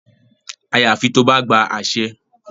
Àyàfi tó bá gba àṣẹ.